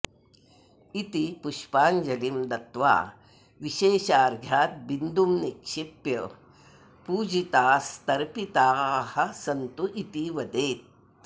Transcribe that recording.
इति पुष्पाञ्जलिं दत्वा विशेषार्घ्याद्बिन्दुं निक्षिप्य पूजितास्तर्पिताः सन्तु इति वदेत्